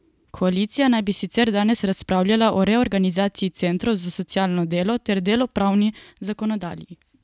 Koalicija naj bi sicer danes razpravljala o reorganizaciji centrov za socialno delo ter delovnopravni zakonodaji.